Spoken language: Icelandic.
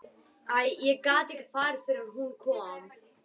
Ég gat ekki farið fyrr en hún kom.